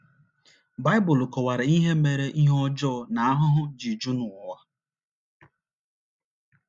Baịbụl kọwara ihe mere ihe ọjọọ na ahụhụ ji ju n’ụwa.